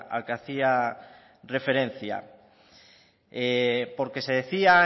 al que hacía referencia porque se decía